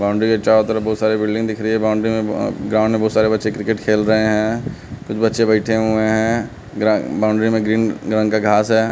Boundary है चारों तरफ बहुत सारी बिल्डिंग दिख रही है बाउंड्री में अह ग्राउंड में बहुत सारे बच्चे क्रिकेट खेल रहे हैं कुछ बच्चे बैठे हुए हैं ग्रा बाउंड्री में ग्रीन रंग का घास है।